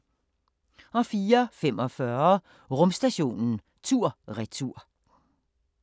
04:45: Rumstationen tur/retur